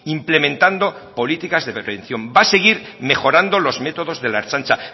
implementando políticas de prevención va a seguir mejorando los métodos de la ertzaintza